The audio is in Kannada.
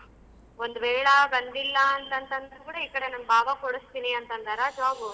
ಒಂದ್ ವೇಳಾ ಬಂದಿಲ್ಲ ಅಂತ ಅಂತಂದ್ರ ಈ ಕಡೆ ನಮ್ ಭಾವ ಕೊಡಸ್ತಿನಿ ಅಂತ ಅಂದರ job ಉ.